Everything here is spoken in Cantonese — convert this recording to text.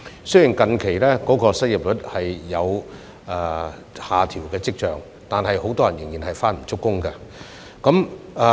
雖然近日失業率有下調跡象，但很多人仍然是開工不足。